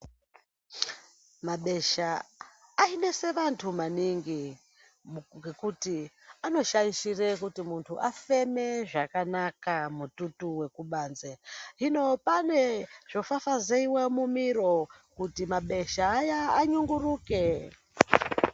Mabesha ainesa antu maningi ngékuti anodhaishire kuti muntu afemezvakanaka mututu wekubanze hino pane zvofafaizeiwa mumiro kuti mabesha anyunguruke